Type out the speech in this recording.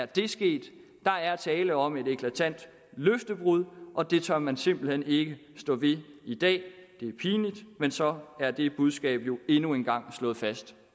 det er sket der er tale om et eklatant løftebrud og det tør man simpelt hen ikke stå ved i dag det er pinligt men så er det budskab jo endnu en gang slået fast